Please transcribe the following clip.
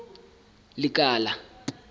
lekala